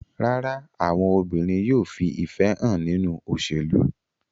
Rárá, àwọn obìnrin yóò fi ìfẹ́ hàn nínú òṣèlú.